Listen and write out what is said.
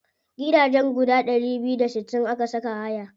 Gidajen guda ɗari biyu da sittin aka saka haya.